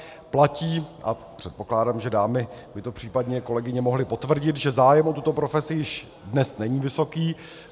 Platí, a předpokládám, že dámy, by to případně kolegyně mohly potvrdit, že zájem o tuto profesi již dnes není vysoký.